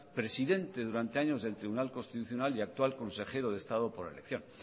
presidente durante años del tribunal constitucional y actual consejero de estado por elección